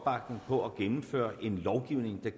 her